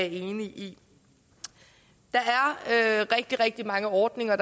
enig i der er rigtig rigtig mange ordninger og